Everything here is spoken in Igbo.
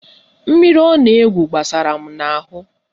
Mmiri ọ na-egwu gbasara m n'ahụ